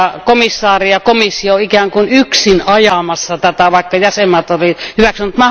Komissaari ja komissio ovat ikään kuin yksin ajamassa tätä, vaikka jäsenvaltiot olivat hyväksyneet.